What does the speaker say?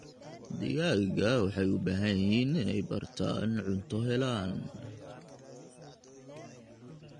Digaagga waxay u baahan yihiin inay bartaan inay cunto helaan.